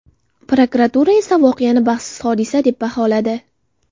Prokuratura esa voqeani baxtsiz hodisa deb baholadi.